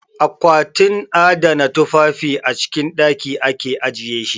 A kwatin adana tufafi a cikin ɗaki ake ajiye shi.